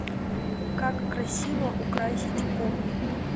как красиво украсить комнату